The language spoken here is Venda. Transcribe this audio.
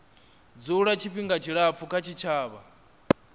dzula tshifhinga tshilapfu kha tshitshavha